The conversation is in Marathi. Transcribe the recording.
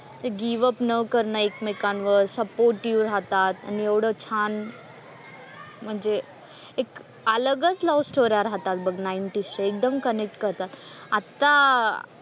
ते गिव्ह अप न करणं एकमेकांवर, सपोर्टिव्ह राहतात आणि एवढं छान म्हणजे एक अलगच लव्ह स्टोऱ्या राहतात बघ नाईंटीजच्या. एकदम कनेक्ट करतात. आता,